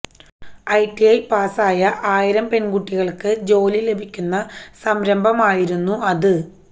ITI പാസായ ആയിരം പെൺകുട്ടികൾക്ക് ജോലി ലഭിക്കുന്ന സംരംഭമായിരുന്നു അത്